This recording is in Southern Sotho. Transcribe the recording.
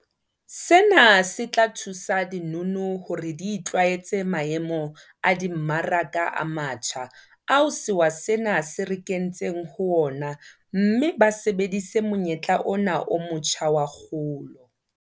Sena se tla thusa dinono hore di itlwaetse maemo a dimmaraka a matjha ao sewa sena se re kentseng ho ona mme ba sebedise monyetla ona o motjha wa kgolo.